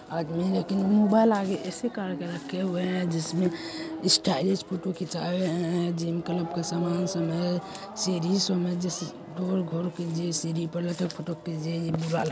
आदमी लेकिन मोबाइल आगे ऐसे करके रखे हुए हैं । जिसमे स्टाइलिश फोटो खींचा रहे हैं । जिम क्लब के सामान सब है । सिरिस में घोल घोल के लटक पुटक्के जेई --